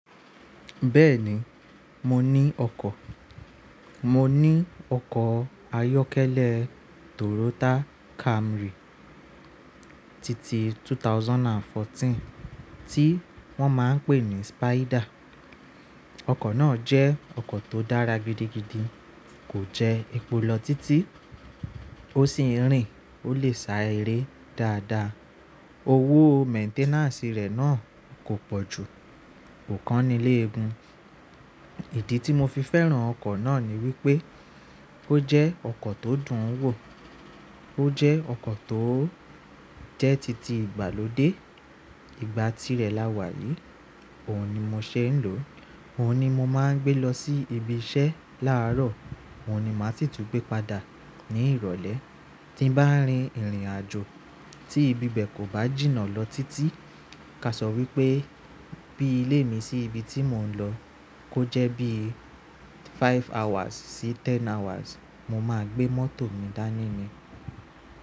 Bẹ́ẹ̀ni, mo ní ọkọ̀. Mo ní ọkọ̀ ayọ́kẹ́lẹ́ Toyota Camry titi ẹgbẹ̀rún méjì ó lé ẹ̀rinlá tí wón máa ń pè ní Spider. Ọkọ̀ náà jẹ́ ọkọ̀ tó dára gidigidi, kò jẹ́ epo lọ títí, ó sì ń rìn, ó lè sá eré dáadáa. Owó maintenance rẹ̀ náà kò pọ̀ jù, kò kánní léégún. Ìdí tí mo fi fẹ́ràn ọkọ̀ náà ni wípé ó jẹ́ ọkọ̀ tó dùn ún wò, ó jẹ́ ọkọ̀ tó jẹ́ títí ìgbàlódé. Ìgbà tí rẹ là wá yìí, òun ni mo ṣe ń lò. Òun ni mo máa ń gbé lọ sí ibi iṣẹ́ láàárọ̀, òun ni màá sì tú n gbé padà ní ìrọ̀lẹ́. Tí n bá ń rin ìrìnàjò tí ibi bẹ́ẹ̀ kò bá jìnnà lọ títí, káṣọ wípé bí ilé mi sí ibi tí mò ń lọ, kó jẹ́ bí five hours sí ten hours, mo máa gbé mọ́tò mi dání ni.